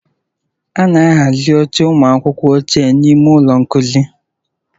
A na-ahazi oche ụmụ akwụkwọ ochie n'ime ụlọ nkuzi.